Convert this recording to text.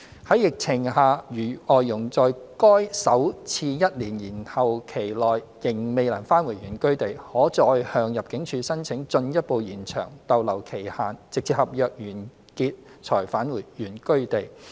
在疫情下，如外傭在該首次一年延後期內仍未能返回原居地，可再向入境處申請進一步延長逗留期限直至合約完結才返回原居地。